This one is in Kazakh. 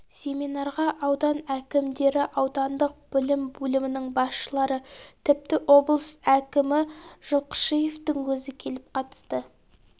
семинарға аудан әкімдері аудандық білім бөлімінің басшылары тіпті облыс әкімі жылқышиевтің өзі келіп қатысты